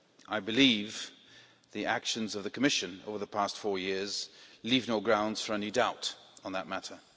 I believe the actions of the Commission over the past four years leave no grounds for any doubt on that matter.